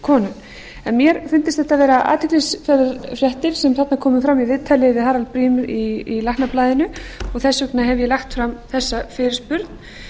konum mér fundust þetta vera athyglisverðar fréttir sem þarna komu fram í viðtali við harald briem í læknablaðinu og þess vegna hef ég lagt fram þessa fyrirspurn